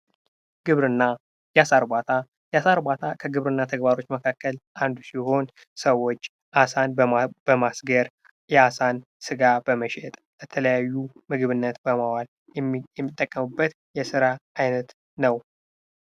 ግብርና የአሳ ርባታ ከግብርና ተግባሮች መካከል አንዱ ሲሆን ሰዎች አሳን በማስገር የአሳን ስጋ በመሸጥ የተለያዩ ምግብነት የሚጠቀሙበት የስራ አይነት ነው።